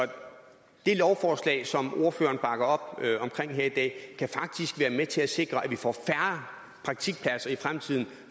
det lovforslag som ordføreren bakker op om her i dag kan faktisk være med til at sikre at vi får færre praktikpladser i fremtiden